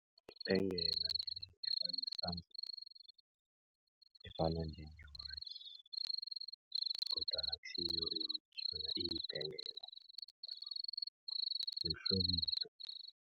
Ibhengela efana njengewatjhi kodwana akusiyo iwatjhi yona iyibhengela yokuhlobisa.